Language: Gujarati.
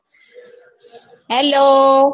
hello